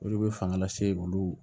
Olu bɛ fanga lase olu